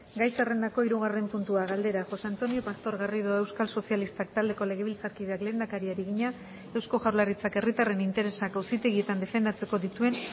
gai zerrendako hirugarren puntua galdera josé antonio pastor garrido euskal sozialistak taldeko legebiltzarkideak lehendakariari egina eusko jaurlaritzak herritarren interesak auzitegietan defendatzeko dituen